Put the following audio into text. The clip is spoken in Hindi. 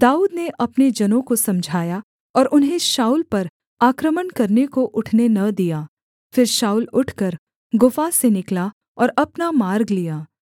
दाऊद ने अपने जनों को समझाया और उन्हें शाऊल पर आक्रमण करने को उठने न दिया फिर शाऊल उठकर गुफा से निकला और अपना मार्ग लिया